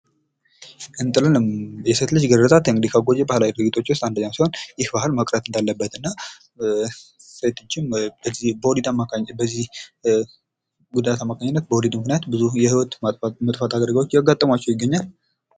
የሴት ልጅ ግርዛት ከልማዳዊ ድርጊቶች ውስጥ አንዱ ነው። ይህ ባህል ማቅረብ ያለበት ሲሆን ሴቶች በወሊድ ጊዜ ችግር እያጋጠማቸው ይገኛል።